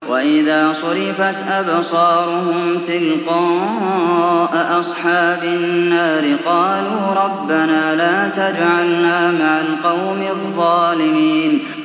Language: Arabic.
۞ وَإِذَا صُرِفَتْ أَبْصَارُهُمْ تِلْقَاءَ أَصْحَابِ النَّارِ قَالُوا رَبَّنَا لَا تَجْعَلْنَا مَعَ الْقَوْمِ الظَّالِمِينَ